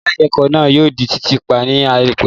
Yàrá ìkẹ́kọ̀ náà yóò di títì pa ní àìpẹ́